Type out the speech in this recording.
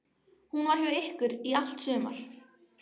Hún var hjá ykkur í allt sumar.